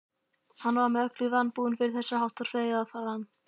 Hann var með öllu vanbúinn fyrir þess háttar feigðarflan.